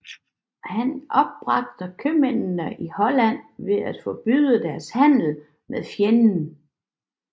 Han opbragte købmændene i Holland ved at forbyde deres handel med fjenden